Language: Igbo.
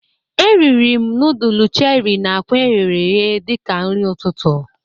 Eriri m nudul Cheri na akwa eghere eghe dịka nri ọtụtụ